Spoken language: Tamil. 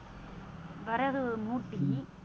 விறகு மூட்டி